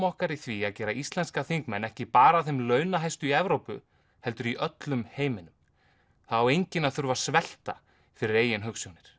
okkar í því að gera íslenska þingmenn ekki bara að þeim launahæstu í Evrópu heldur í öllum heiminum það á enginn að þurfa að svelta fyrir eigin hugsjónir